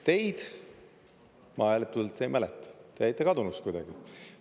Teid ma hääletuselt ei mäleta, te jäite kadunuks kuidagi.